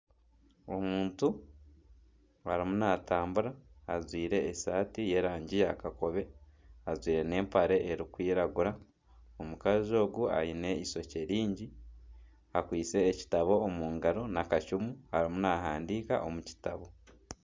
Omuntu arimu natambura ajwaire esaati y'erangi ya kakobe ajwaire n'empare erikwiragura. Omukazi ogu aine ishokye ringi akwitse ekitabo omungaro n'akacumu arimu nahandiika omu kitabo.